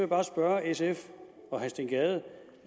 bare spørge sf og herre steen gade